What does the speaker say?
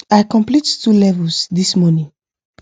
i complete 2 levels this morning